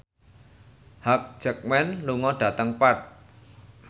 Hugh Jackman lunga dhateng Perth